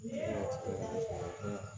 Dengɛnin yo